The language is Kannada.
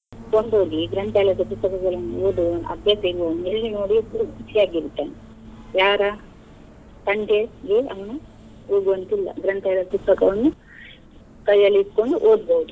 ಕೊಂಡು ಹೋಗಿ ಗ್ರಂಥಾಲಯದ ಪುಸ್ತಕಗಳನ್ನು ಓದುವ ಅಭ್ಯಾಸ ಇರುವವನು ಎಲ್ಲಿ ನೋಡಿದ್ರು ಖುಷಿಯಾಗಿ ಇರ್ತಾನೆ. ಯಾರ ತಂಟೆಗೆ ಅವನು ಹೋಗುವಂತಿಲ್ಲ ಗ್ರಂಥಾಲಯದ ಪುಸ್ತಕವನ್ನು ಕೈಯಲ್ಲಿ ಇಟ್ಕೊಂಡು ಓದ್ಬೋದು.